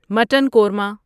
mutton korma